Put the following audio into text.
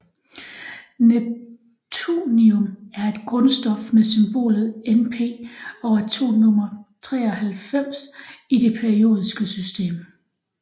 Neptunium er et grundstof med symbolet Np og atomnummer 93 i det periodiske system